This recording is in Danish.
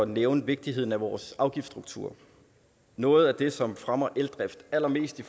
nævne vigtigheden af vores afgiftsstruktur noget af det som fremmer eldrift allermest i